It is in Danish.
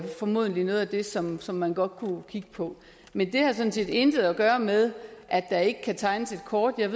formodentlig er noget af det som som man godt kunne kigge på men det har sådan set intet at gøre med at der ikke kan tegnes et kort jeg